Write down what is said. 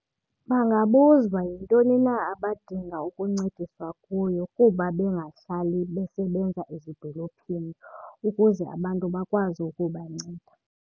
Bangabuza uba yintoni na abadinga ukuncediswa kuyo kuba bengahlali besebenza ezidolophini ukuze abantu bakwazi ukubanceda.